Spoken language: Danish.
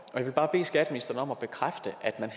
vil bare bede skatteministeren om at bekræfte at man